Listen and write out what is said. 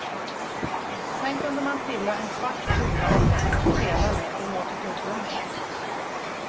Sen kunde man trilla en svart kula av den att spela med och ha till tugggummi.